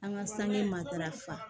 An ka sange matarafa